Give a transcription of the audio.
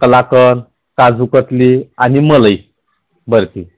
कलाकन, काजु कतली आणि मलई बर्फी